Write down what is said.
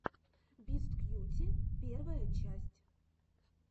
бисткьюти первая часть